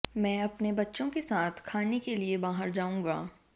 मैं अपने बच्चों के साथ खाने के लिए बाहर जाऊंगा